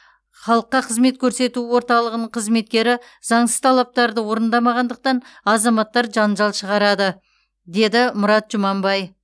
халыққа қызмет көрсету орталығының қызметкері заңсыз талаптарды орындамағандықтан азаматтар жанжал шығарады деді мұрат жұманбай